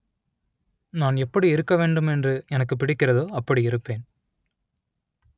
நான் எப்படி இருக்க வேண்டும் என்று எனக்கு பிடிக்கிறதோ அப்படி இருப்பேன்